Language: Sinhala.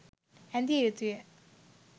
ඇඳිය යුතුය.